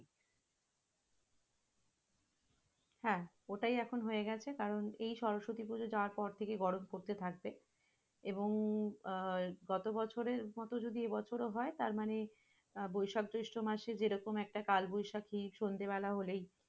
হ্যাঁ, ওটাই এখন হয়ে গেছে কারণে এই সরস্বতী পূজা যাওয়ার পর থেকে এখন গরম পড়তে থাকবে এবং আহ গতবছরের মত যদি এবছর ও হয় তারমানে, আহ বৈশাখ-জ্যৈষ্ঠ মাসে যেরাকম একটা কালবৈশাখী সন্ধ্যাবেলা হলেই,